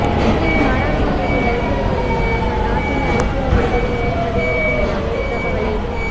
இலங்கையில் நாடாளுமன்றத்தை கலைத்திருப்பதன் மூலம் அந்நாட்டில் அரசியல் நெருக்கடி மேலும் அதிகரிக்கும் என அமெரிக்கா கவலை